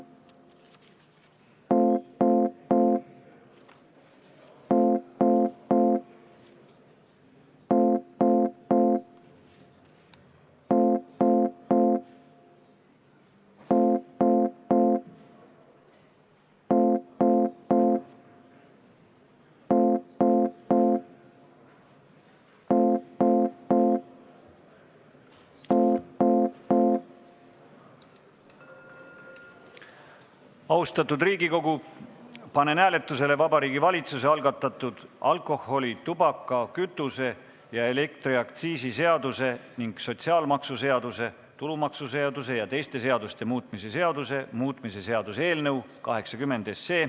Austatud Riigikogu, panen hääletusele Vabariigi Valitsuse algatatud alkoholi-, tubaka-, kütuse- ja elektriaktsiisi seaduse ning sotsiaalmaksuseaduse, tulumaksuseaduse ja teiste seaduste muutmise seaduse muutmise seaduse eelnõu 80.